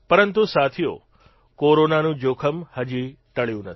પરંતુ સાથીઓ કોરોનાનું જોખમ હજી ટળ્યું નથી